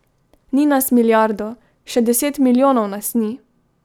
Ni nas milijardo, še deset milijonov nas ni!